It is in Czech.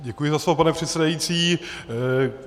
Děkuji za slovo, pane předsedající.